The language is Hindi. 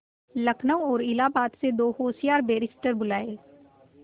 लखनऊ और इलाहाबाद से दो होशियार बैरिस्टिर बुलाये